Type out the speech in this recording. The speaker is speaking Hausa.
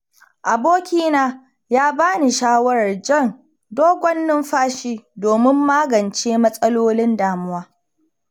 Abokina ya ba ni shawarar jan dogon numfashi domin magance matsalolin damuwa.